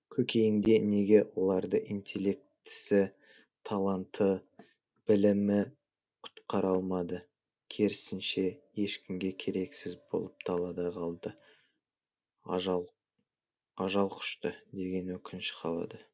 көкейіңде неге оларды интеллектісі таланты білімі құтқара алмады керісінше ешкімге керексіз болып далада қалды ажалқұшты деген өкініш қалады